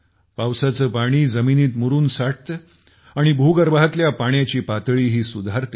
पावसाचे पाणी जमिनीत मुरून साठते आणि भूगर्भातल्या पाण्याची पातळीही सुधारते